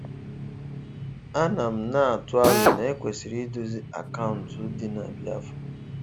A na m na-atụ alo na ekwesiri idozi akaụntụ dị na Biafra.